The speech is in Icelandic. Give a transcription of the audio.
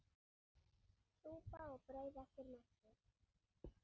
Súpa og brauð eftir messu.